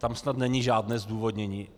Tam snad není žádné zdůvodnění.